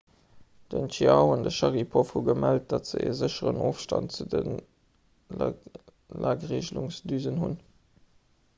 den chiao an de sharipov hu gemellt datt se e sécheren ofstand zu de lagreegelungsdüsen hunn